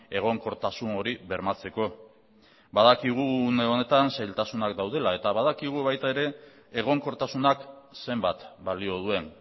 egonkortasun hori bermatzeko badakigu une honetan zailtasunak daudela eta badakigu baita ere egonkortasunak zenbat balio duen